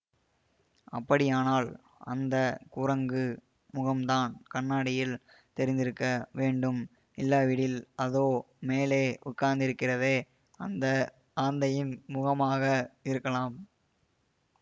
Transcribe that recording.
அப்படியானால் அந்த குரங்கு முகம்தான் கண்ணாடியில் தெரிந்திருக்க வேண்டும் இல்லாவிடில் அதோ மேலே உட்கார்ந்திருக்கிறதே அந்த ஆந்தையின் முகமாக இருக்கலாம்